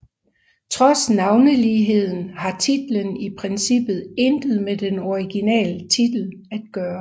Trods navneligheden har titlen i princippet intet med den originale titel at gøre